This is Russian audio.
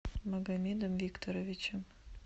магомедом викторовичем